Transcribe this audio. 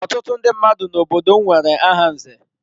Ọtụtụ ndị mmadụ n'obodo m nwere aha nze.